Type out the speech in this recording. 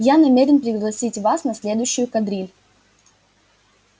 я намерен пригласить вас на следующую кадриль